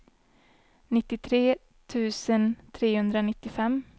nittiotre tusen trehundranittiofem